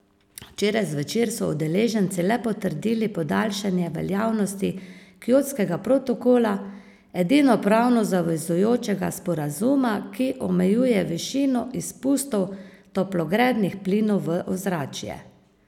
Včeraj zvečer so udeleženci le potrdili podaljšanje veljavnosti kjotskega protokola, edinega pravno zavezujočega sporazuma, ki omejuje višino izpustov toplogrednih plinov v ozračje.